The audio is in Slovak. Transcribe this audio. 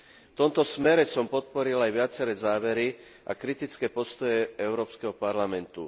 V tomto smere som podporil aj viaceré závery a kritické postoje Európskeho parlamentu.